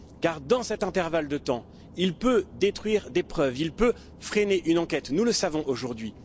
Car dans cet intervalle de temps, il peut détruire des preuves, il peut freiner une enquête, nous le savons aujourd'hui.